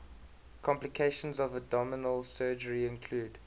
complications of abdominal surgery include